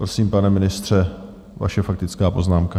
Prosím, pane ministře, vaše faktická poznámka.